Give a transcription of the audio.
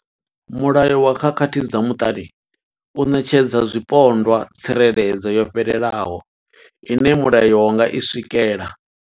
Mulayo wa khakhathi dza muṱani u ṋetshedza zwipondwa tsireledzo yo fhelelaho ine mulayo wa nga i swikela.